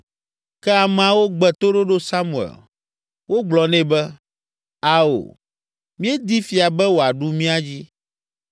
Ke ameawo gbe toɖoɖo Samuel. Wogblɔ nɛ be, “Ao! Míedi fia be wòaɖu mía dzi.